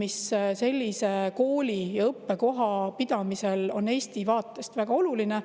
mis sellise kooli ja õppekoha pidamisel on, on Eesti vaatest väga oluline.